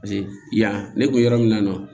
Paseke yan ne kun bɛ yɔrɔ min na